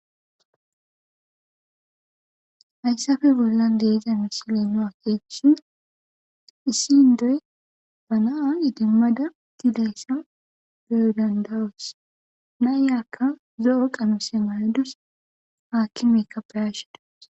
Haysappe bolan de'iya missile nu akekushn issi indoy ba na'a idimada utidaysa beyo danda'os nayka zo'o qamise mayadus akimeka beyashe dawus.